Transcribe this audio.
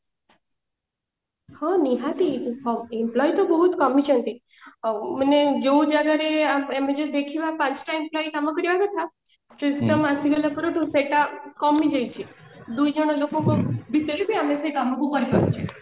ହଁ ନିହାତି employee ତ ବହୁତ କମିଛନ୍ତି ଆଉ ମାନେ ଯୋଉ ଜାଗାରେ ଆମେ ଯଦି ଦେଖିବା ପାଞ୍ଚଟା employee କାମ କରିବା କଥା system ଆସିଗଲାଠୁ ସେଇଟା କମି ଯାଇଛି ଦୁଇଜଣ ଲୋକଙ୍କ ଭିତରେ ବି ଆମେ ସେଇ କାମକୁ କରି ପାରୁଛେ